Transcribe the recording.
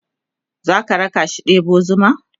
zaka rakashi ɗebo zuma?